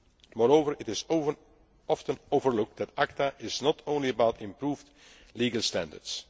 regimes. Moreover, it is often overlooked that ACTA is not only about improved legal